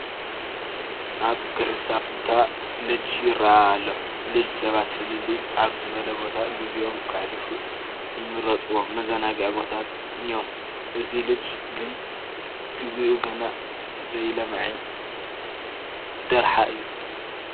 ኣብ ገላሳ ቦታ ሎጅ ይርአ ኣሎ፡፡ ሎጅ ሰባት ፍልይ ኣብ ዝበለ ቦታ ግዚኦም ከሕልፉ ዝመርፁዎም መዘናግዒ ቦታ እዮም፡፡ እዚ ሎጅ ግን ግቢኡ ገና ዘይለምዐ ደርሓ እዩ፡፡